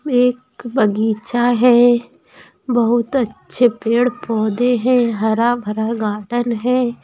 एक बगीचा है। बहुत अच्छे पेड़-पौधे हैं हरा-भरा गार्डन है ।